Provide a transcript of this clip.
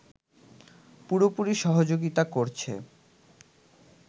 পুরোপুরি সহাযোগিতা করছে